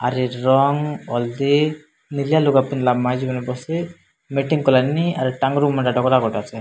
ନେଲିଆ ଲୁଗା ପିନ୍ଧଲା ମାଇଚିମାନେ ବସି ମିଟିଂ କଲାନି ଆର୍